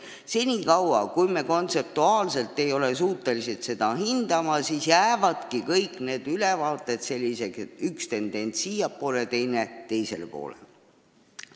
Senikaua, kui me kontseptuaalselt ei ole suutelised seda hindama, jäävadki kõik need ülevaated peegeldama seda, et üks tendents on siiapoole, teine teisele poole.